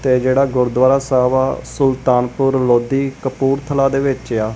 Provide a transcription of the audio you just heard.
ਤੇ ਇਹ ਜਿਹੜਾ ਗੁਰਦੁਆਰਾ ਸਾਹਿਬ ਆ ਸੁਲਤਾਨਪੁਰ ਲੋਧੀ ਕਪੂਰਥਲਾ ਦੇ ਵਿੱਚ ਆ।